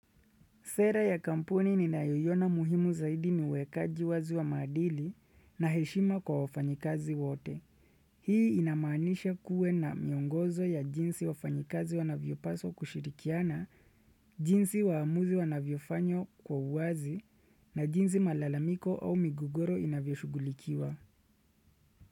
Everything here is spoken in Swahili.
Sera ya kampuni ninayoiona muhimu zaidi niwekaji wazi wa madili na heshima kwa wafanyikazi wote. Hii inamanisha kuwe na miongozo ya jinsi wafanyikazi wanavyo paswa kushirikiana, jinsi waamuzi wanavyo fanywa kwa uwazi na jinsi malalamiko au migogoro inavyo shugulikiwa.